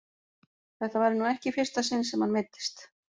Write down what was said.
Þetta væri nú ekki í fyrsta sinn sem hann meiddist.